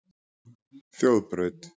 Þjóðbraut